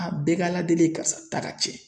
A bɛɛ ka ala deli ye karisa ta ka cɛn